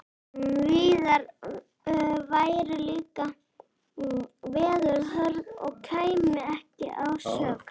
Víðar væru líka veður hörð og kæmi ekki að sök.